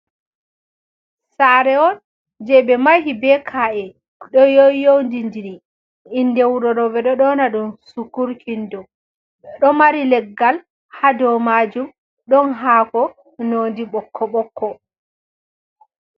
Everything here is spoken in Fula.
Saare on je ɓe mahi be ka'e ɗo yoyyowndidiri. Inde wuro ɗo ɓe ɗo nyoona ɗum sukur kindom, ɗo mari leggal haa dow maajum ɗon haako noodi ɓokko- ɓokko.